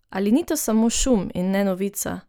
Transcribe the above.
Ali ni to samo šum, in ne novica?